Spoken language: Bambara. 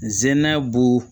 N zɛnna b'u